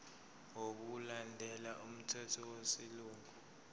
ngokulandela umthetho wesilungu